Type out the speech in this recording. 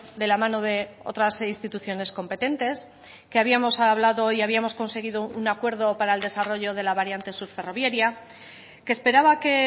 de la mano de otras instituciones competentes que habíamos hablado y habíamos conseguido un acuerdo para el desarrollo de la variante sur ferroviaria que esperaba que